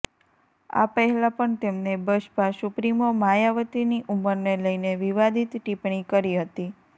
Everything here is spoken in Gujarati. આ પહેલા પણ તેમને બસપા સુપ્રીમો માયાવતીની ઉમરને લઈને વિવાદિત ટિપ્પણી કરી હતી